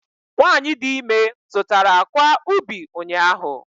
Nwanyị dị ime zụtara akwa ubi ụnyahụ